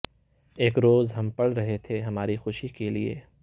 ایک روز ہم پڑھ رہے تھے ہماری خوشی کے لئے